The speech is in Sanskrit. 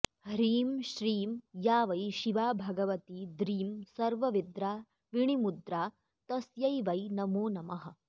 ह्रीं श्रीं या वै शिवा भगवती द्रीं सर्वविद्राविणीमुद्रा तस्यै वै नमो नमः